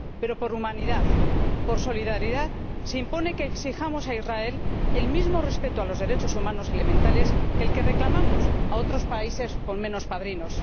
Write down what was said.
pero, por humanidad, por solidaridad, se impone que exijamos a Israel el mismo respeto de los derechos humanos elementales que el que reclamamos a otros países con menos padrinos.